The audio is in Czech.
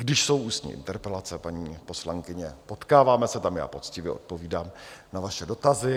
Když jsou ústní interpelace, paní poslankyně, potkáváme se tam, já poctivě odpovídám na vaše dotazy.